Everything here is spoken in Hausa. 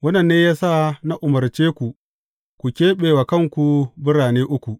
Wannan ne ya sa na umarce ku ku keɓe wa kanku birane uku.